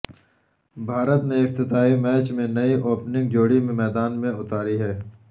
بھارت نے افتتاحی میچ میں نئی اوپننگ جوڑی میدان میں اتاری ہے